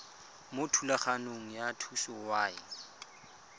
mo thulaganyong ya thuso y